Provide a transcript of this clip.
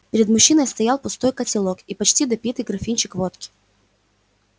перед мужчиной стоял пустой котелок и почти допитый графинчик водки